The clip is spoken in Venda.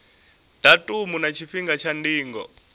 datumu na tshifhinga tsha ndingo